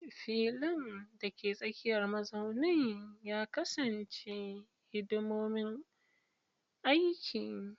Filin, dake tsakiyar mazaunin, ya kasance hidimomin aiki.